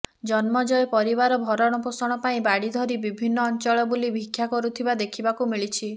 ଜନ୍ମଜୟ ପରିବାର ଭରଣ ପୋଷଣ ପାଇଁ ବାଡ଼ି ଧରି ବିିଭିନ୍ନ ଅଞ୍ଚଳ ବୁଲି ଭିକ୍ଷା କରୁଥିବା ଦେଖିବାକୁ ମିଳିଛି